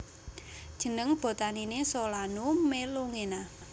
Jeneng botaniné Solanum melongena